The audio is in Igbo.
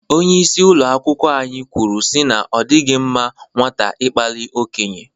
Onyeisi ụlọ akwụkwọ anyị kwuru si na ọ dịghị mma nwata ịkpali okenye.